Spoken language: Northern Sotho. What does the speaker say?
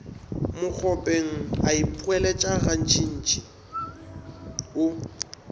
mokgopeng a ipoeletša gantšintši o